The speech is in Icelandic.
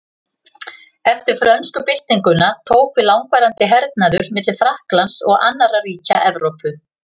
Eftir frönsku byltinguna tók við langvarandi hernaður milli Frakklands og annarra ríkja Evrópu.